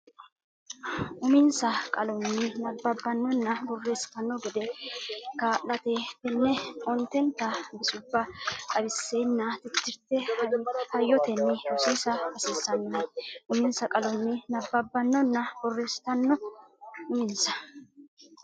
uminsa qalonni nabbabbannonna borreessitanno gede kaa late tenne ontenta bisubba xawissenna tittirte hayyotenni rosiisa hasiissannohe uminsa qalonni nabbabbannonna borreessitanno uminsa.